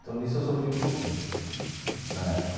Então, nisso eu sofri um pouquinho na época.